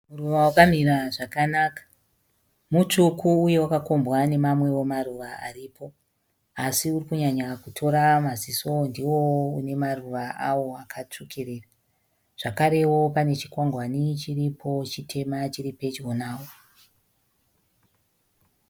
Muruva wakamira zvakanaka. Mutsvuku uye wakakombwa nemamwewo maruva aripo asi uri kunyanya kutora maziso ndiwowo une maruva avo akatsvukirira. Zvakarewo pane chikwangwani chiripo chitema chiri pedyo nawo.